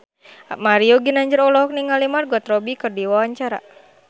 Mario Ginanjar olohok ningali Margot Robbie keur diwawancara